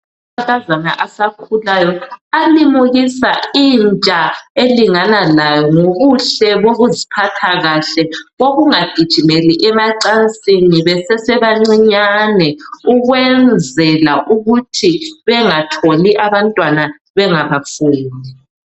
Amankazana asakhulayo alimukisa intsha elingana layo ngobuhle bokuziphatha kahle bokungagijimeli emacansini besesebancinyane ukwenzela ukuthi bengatholi abantwana bengabafuni.